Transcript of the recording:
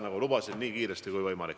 Nagu lubasin, nii kiiresti kui võimalik.